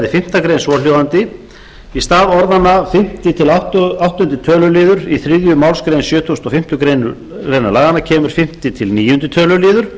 fimmtu grein svohljóðandi í stað orðanna fimmta til áttunda töluliðar í þriðju málsgrein sjötugustu og fimmtu grein laganna kemur fimmta til níundu tölulið